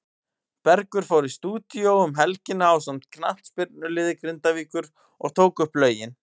Bergur fór í stúdíó um helgina ásamt knattspyrnuliði Grindavíkur og tók upp lögin.